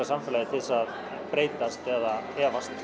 samfélagið til að breytast eða efast